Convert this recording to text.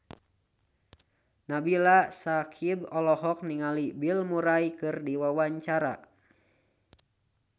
Nabila Syakieb olohok ningali Bill Murray keur diwawancara